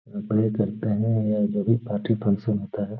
जो भी party function होता है।